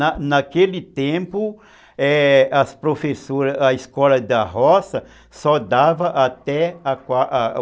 Na naquele tempo, é, as professoras, a escola da roça só dava até a quar